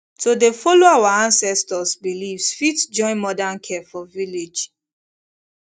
to dey follow our ancestors beliefs fit join modern care for village